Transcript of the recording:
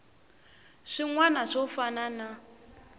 swin wana swo fana na